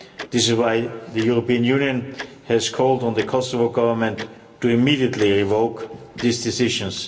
This is why the European Union has called on the Kosovo Government to immediately revoke these decisions.